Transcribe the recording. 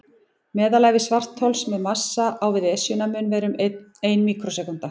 Meðalævi svarthols með massa á við Esjuna mun vera um ein míkrósekúnda.